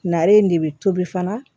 Nare in de bɛ tobi fana